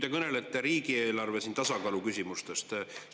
Te kõnelesite riigieelarve tasakaalu küsimustest.